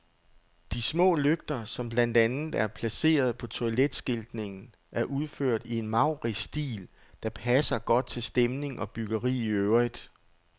De små lygter, som blandt andet er placeret på toiletskiltningen, er udført i en maurisk stil, der passer godt til stemning og byggeri i øvrigt.